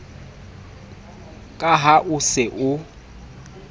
ka ha o se o